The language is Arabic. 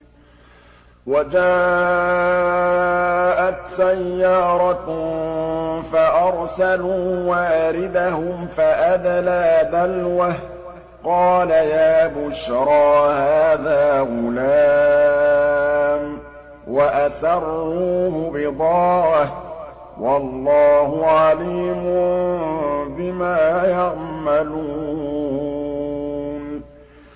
وَجَاءَتْ سَيَّارَةٌ فَأَرْسَلُوا وَارِدَهُمْ فَأَدْلَىٰ دَلْوَهُ ۖ قَالَ يَا بُشْرَىٰ هَٰذَا غُلَامٌ ۚ وَأَسَرُّوهُ بِضَاعَةً ۚ وَاللَّهُ عَلِيمٌ بِمَا يَعْمَلُونَ